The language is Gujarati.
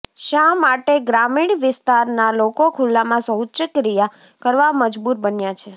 શા માટે ગ્રામિણ વિસ્તારનાં લોકો ખુલ્લામાં શૌચક્રિયા કરવા મજબૂર બન્યાં છે